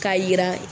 K'a yira